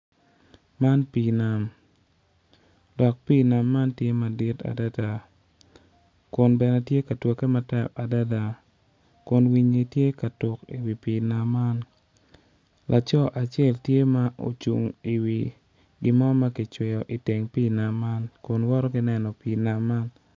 Man pii nam dok pii nam man tye madit adada kun bene tye ka twagge matek adada kun winyi tye ka tuk i wi pii nam man laco acel tye ma ocung i wi gin mo ma kicweyo i teng pii kun woto ki neno pii man.